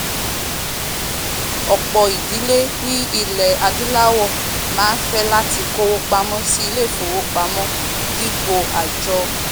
ọ̀pọ̀ ìdílé ní ilẹ̀ adúláwọ̀ máá fẹ́ láti kówó pamọ́ sí ilé ìfowópamọ́ dípò àjọ